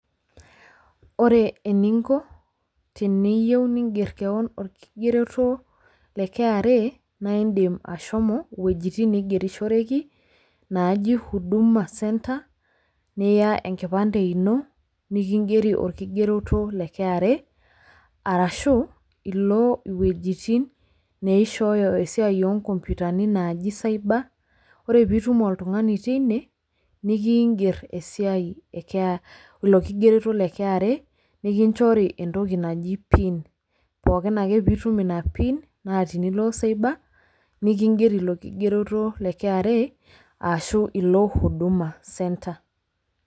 Wore eninko teniyieu niingerr kewon olkigeroto le kra, naa iindim ashomo iwejitin naigerishoreki, naaji huduma center, niya enkipande ino, nikigieri olkigeroto le kra, arashu, ilo iwejitin, neishooyo esiai oonkoompitani naaji cyber, wore pee itum oltungani otii inie, nikiigier esiai ee kea ilo kigeroto le kra nikinjori entoki naji pin. Pookin ake pee itum inia pin, naa tenilo cyber, nikigieri ilo kigeroto le kra ashu ilo huduma center.